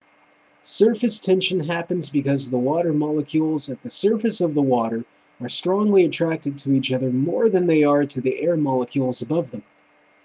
surface tension happens because the water molecules at the surface of the water are strongly attracted to each other more than they are to the air molecules above them